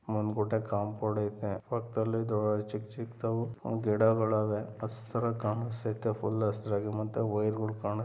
ಮುಂದುಗಡೆ ಕಾಪೌಂಡ್‌ ಇದೆ ಪಕ್ಕದಲ್ಲಿ ಚಿಕ್ಕ ಚಿಕ್ಕ ಗಿಡಗಳು ಇವೆ ಹಸಿರಾಗಿ ಕಾಣಿಸ್ತಾ ಇದೆ ಫುಲ್‌ ಹಸಿರಾಗಿ ಮತ್ತೆ ವೈರ್‌ಗಳು ಕಾಣ್ತಾ ಇದೆ